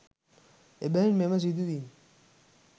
එබැවින් මෙම සිදුවීම්